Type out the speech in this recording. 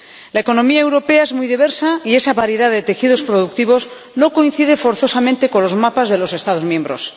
La economía europea es muy diversa, y esa variedad de tejidos productivos no coincide forzosamente con los mapas de los Estados miembros.